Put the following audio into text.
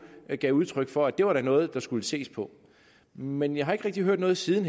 gav udtryk for at det da var noget der skulle ses på men jeg har ikke rigtig hørt noget siden